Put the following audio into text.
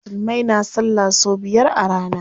Musulmai na salla sau biyar a rana.